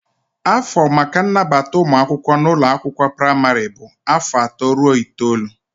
Afọ maka nnabata ụmụ akwụkwọ n'ụlọ akwụkwọ praịmarị bụ afọ atọ ruo itoolu.